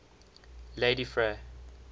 ladyfrey